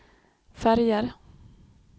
färger